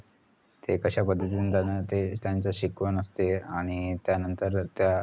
ते कश्या पद्धतीने जाणि ते त्यांची शिकवण असते आणि त्यानंतर अं त्या